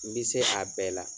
N bɛ se a bɛɛ la